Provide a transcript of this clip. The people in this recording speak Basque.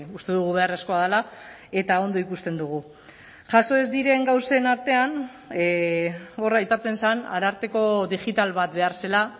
uste dugu beharrezkoa dela eta ondo ikusten dugu jaso ez diren gauzen artean hor aipatzen zen ararteko digital bat behar zela